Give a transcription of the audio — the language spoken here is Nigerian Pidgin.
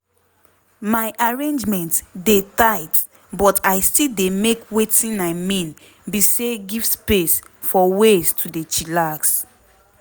my arrangement dey tight but i still dey make wetin i mean be say give space for ways to dey chillax.